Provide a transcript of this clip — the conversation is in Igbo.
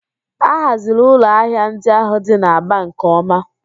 A haziri ụlọ ahịa ndị ahụ dị n'Aba nke ọma